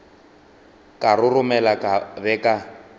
ka roromela ka be ka